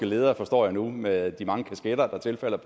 leder forstår jeg nu med de mange kasketter der tilfalder